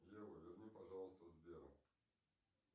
ева верни пожалуйста сбера